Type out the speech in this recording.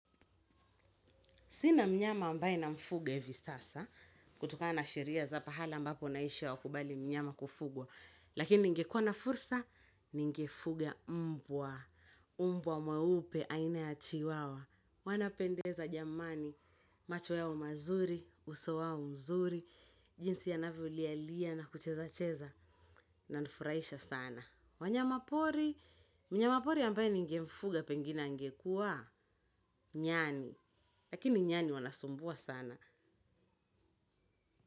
Sina mnyama ambaye namfuga hivi sasa kutokana sheria za pahala ambapo naisha hawakubali mnyama kufugwa. Lakini ningekwa na fursa, ningefuga mbwa. Mbwa mweupe, aina ya chiwawa. Wanapendeza jamani, macho yao mazuri, uso wao mzuri, jinsi anavyo lia lia na kucheza cheza nanifuraisha sana. Wanyama pori, mnyama pori ambaye ningemfuga pengina angekwa, nyani. Lakini nyani wanasumbua sana.